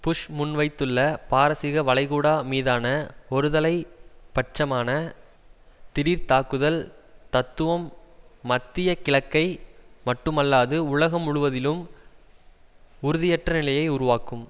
push முன்வைத்துள்ள பாரசீக வளைகுடா மீதான ஒரு தலை பட்சமான திடீர் தாக்குதல் தத்துவம் மத்திய கிழக்கை மட்டுமல்லாது உலகம் முழுவதிலும் உறுதியற்றநிலையை உருவாக்கும்